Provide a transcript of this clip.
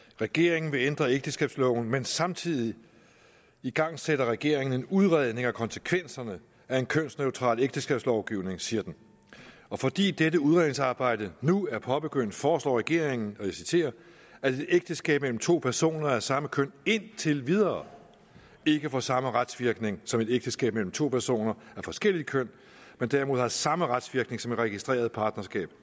regeringen vil ændre ægteskabsloven men samtidig igangsætter regeringen en udredning af konsekvenserne af en kønsneutral ægteskabslovgivning siger den og fordi dette udredningsarbejde nu er påbegyndt foreslår regeringen og jeg citerer at ægteskab mellem to personer af samme køn indtil videre ikke får samme retsvirkninger som ægteskab mellem to personer af forskelligt køn men derimod har de samme retsvirkninger som et registreret partnerskab